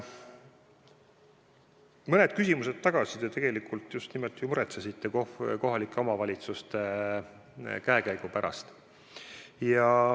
Mõned küsimused tagasi te tegelikult just nimelt muretsesite kohalike omavalitsuste käekäigu pärast.